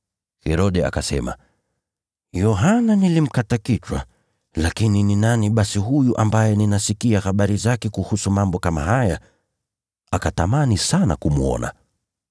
Herode akasema, “Yohana nilimkata kichwa. Lakini ni nani huyu ambaye ninasikia mambo kama haya kumhusu?” Akatamani sana kumwona.